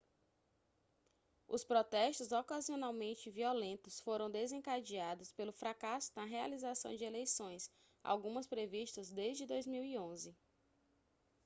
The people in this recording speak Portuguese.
os protestos ocasionalmente violentos foram desencadeados pelo fracasso na realização de eleições algumas previstas desde 2011